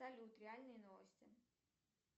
салют реальные новости